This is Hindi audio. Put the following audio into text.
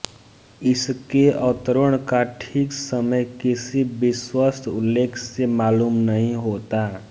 इसके अवतरण का ठीक समय किसी विश्वस्त उल्लेख से मालूम नहीं होता